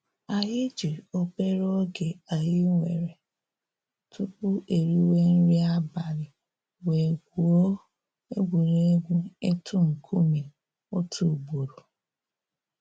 Anyị ji obere oge anyị nwere tupu e riwe nri abali wee gwue egwuregwu ịtụ nkume otu ugboro.